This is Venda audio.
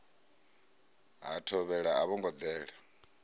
ha thovhele a vhongo dela